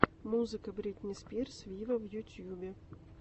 музыка бритни спирс виво в ютьюбе